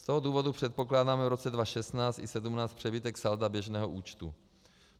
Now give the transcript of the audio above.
Z toho důvodu předpokládáme v roce 2016 i 2017 přebytek salda běžného účtu.